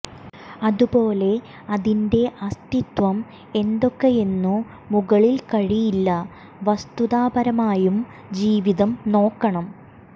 അതുപൊലെ അതിന്റെ അസ്തിത്വം എന്തൊക്കെയെന്നു മുകളിൽ കഴിയില്ല വസ്തുതാപരമായും ജീവിതം നോക്കണം